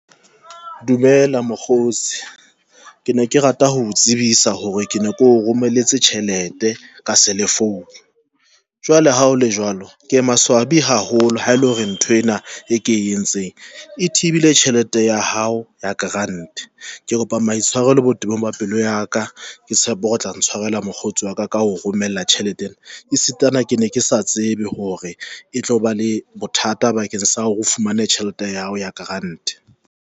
Dumela Mokgotsi ke ne ke rata ho tsebisa hore ke ne keo romeletse tjhelete ka selefounu jwale ha o le jwalo, ke maswabi haholo ha ele hore nthwena e ke e entseng e thibile tjhelete ya hao ya grant ke kopa maitshwarelo botebong ba pelo ya ka. Ke tshepe hore o tla ntshwarela mokgotsi wa ka ka ho romela tjhelete ena e sitana ke ne ke sa tsebe hore e tloba le bothata bakeng sa hore o fumane tjhelete ya hao ya grant.